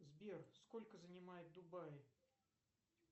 сбер сколько занимает дубаи